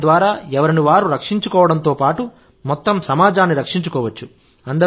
దానిద్వారా ఎవరిని వారు రక్షించుకోవడంతో పాటు మొత్తం సమాజాన్ని రక్షించుకోవచ్చు